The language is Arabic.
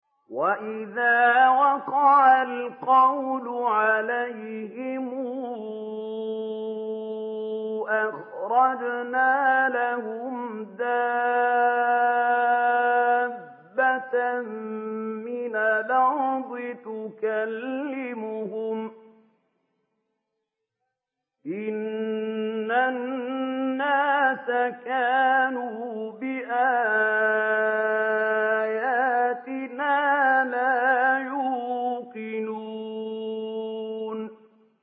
۞ وَإِذَا وَقَعَ الْقَوْلُ عَلَيْهِمْ أَخْرَجْنَا لَهُمْ دَابَّةً مِّنَ الْأَرْضِ تُكَلِّمُهُمْ أَنَّ النَّاسَ كَانُوا بِآيَاتِنَا لَا يُوقِنُونَ